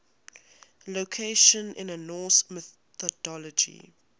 locations in norse mythology